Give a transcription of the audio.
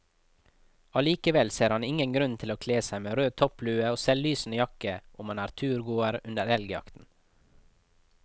Allikevel ser han ingen grunn til å kle seg med rød topplue og selvlysende jakke om man er turgåer under elgjakten.